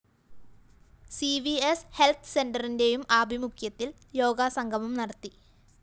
C V S health സെന്ററിന്റെയും ആഭിമുഖ്യത്തില്‍ യോഗ സംഗമം നടത്തി